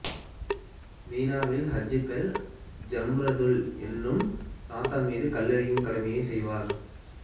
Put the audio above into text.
மினாவில் ஹாஜிக்கள் ஜம்ரதுல் எனும் சாத்தான் மீது கல்லெறியும் கடமையை செய்வர்